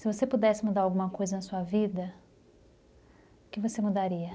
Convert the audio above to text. Se você pudesse mudar alguma coisa na sua vida, o que você mudaria?